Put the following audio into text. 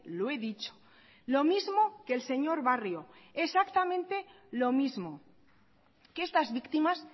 lo he dicho lo mismo que el señor barrio exactamente lo mismo que estas víctimas